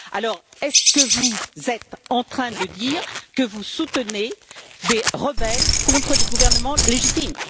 Alors est ce que vous êtes en train de dire que vous soutenez des rebelles contre des gouvernements légitimes?